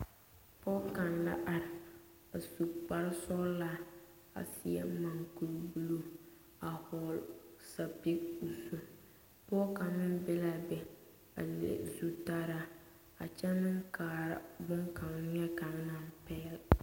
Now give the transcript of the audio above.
Pɔge kaŋ la are a su kpare sɔglaa a seɛ mukuri buluu a vɔgle sapili o zu pɔge kaŋa meŋ be la a be a le o zutaraa a kyɛ meŋ kaara boŋkaŋa neɛkaŋa naŋ pɛgele ba.